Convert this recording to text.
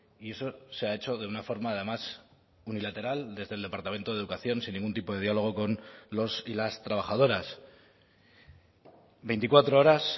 y eso se ha hecho de una forma además unilateral desde el departamento de educación sin ningún tipo de diálogo con los y las trabajadoras veinticuatro horas